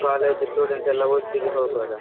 College student ಎಲ್ಲ ಒಟ್ಟಿಗೆ ಹೋಗುವಾಗ